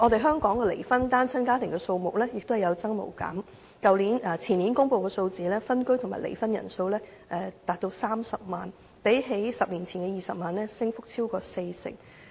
香港的離婚單親家庭數目亦有增無減，前年公布的數字顯示分居和離婚人數高達30萬人，較10年前的20萬人升幅超過四成。